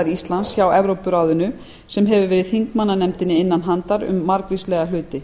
íslands hjá evrópuráðinu sem hefur verið þingmannanefndinni innan handar um margvíslega hluti